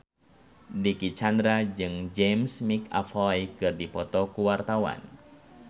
Dicky Chandra jeung James McAvoy keur dipoto ku wartawan